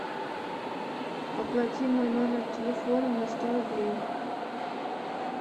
оплати мой номер телефона на сто рублей